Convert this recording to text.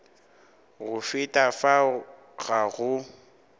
go feta fao ga go